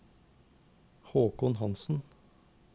Håkon Hanssen